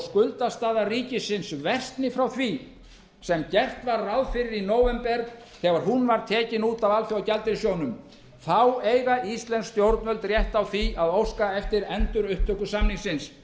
skuldastaða ríkisins geri frá því sem gert var ráð fyrir í nóvember þegar hún var tekin út af alþjóðagjaldeyrissjóðnum þá eiga íslensk stjórnvöld rétt á því að óska eftir endurupptöku samningsins